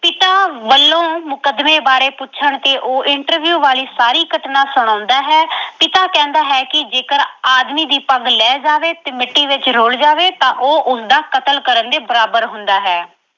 ਪਿਤਾ ਵੱਲੋਂ ਮੁਕੱਦਮੇ ਬਾਰੇ ਪੁੱਛਣ ਤੇ ਉਹ interview ਵਾਲੀ ਸਾਰੀ ਘਟਨਾ ਸੁਣਾਉਂਦਾ ਹੈ। ਪਿਤਾ ਕਹਿੰਦਾ ਹੈ ਕਿ ਜੇਕਰ ਆਦਮੀ ਦੀ ਪੱਗ ਲਹਿ ਜਾਵੇ ਤੇ ਮਿੱਟੀ ਵਿੱਚ ਰੁਲ ਜਾਵੇ ਤਾਂ ਉਹ ਉਸਦਾ ਕਤਲ ਕਰਨ ਦੇ ਬਰਾਬਰ ਹੁੰਦਾ ਹੈ।